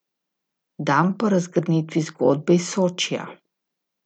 Dan po razgrnitvi zgodbe iz Sočija ...